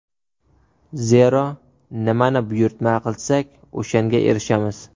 Zero, nimani buyurtma qilsak o‘shanga erishamiz.